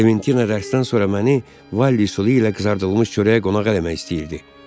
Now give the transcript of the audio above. Klementina dərsdən sonra məni Valliy sulu ilə qızardılmış çörəyə qonaq eləmək istəyirdi.